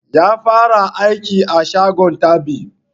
Ya fara aiki a shagon dab'i